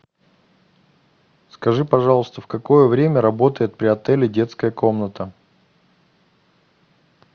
скажи пожалуйста в какое время работает при отеле детская комната